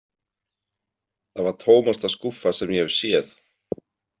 Það var tómasta skúffa sem ég hef séð.